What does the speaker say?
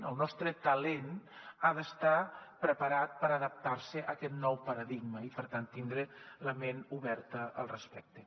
el nostre talent ha d’estar preparat per a adaptar se a aquest nou paradigma i per tant tindre la ment oberta al respecte